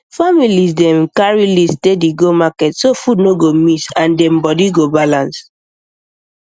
families dey um carry um list steady go market so food no go miss and dem body um go balance